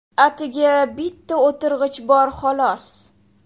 Atigi bitta o‘tirg‘ich bor, xolos.